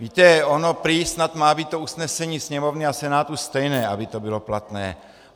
Víte, ono prý snad má být to usnesení Sněmovny a Senátu stejné, aby to bylo platné.